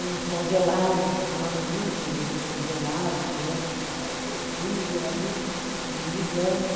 uns congelados, se falava muito em vender os congelados, né, porque apareceu o freezer ali, todo mundo usando.